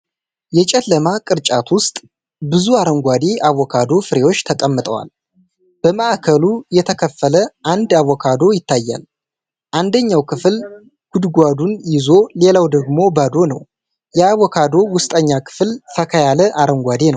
የጨለማ ቅርጫት ውስጥ ብዙ አረንጓዴ አቮካዶ ፍሬዎች ተቀምጠዋል። በማዕከሉ የተከፈለ አንድ አቮካዶ ይታያል፤ አንደኛው ክፍል ጉድጓዱን ይዞ ሌላው ደግሞ ባዶ ነው። የአቮካዶው ውስጠኛ ክፍል ፈካ ያለ አረንጓዴ ነው።